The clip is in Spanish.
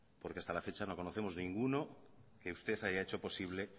porque hasta la fecha no conocemos ninguno que usted haya hecho posible